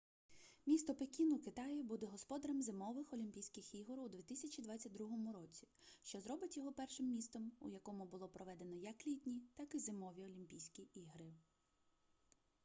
місто пекін у китаї буде господарем зимових олімпійських ігор у 2022 році що зробить його першим містом у якому було проведено як літні так і зимові олімпійські ігри